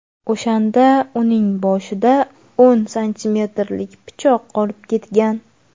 O‘shanda uning boshida o‘n santimetrlik pichoq qolib ketgan.